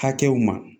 Hakɛw ma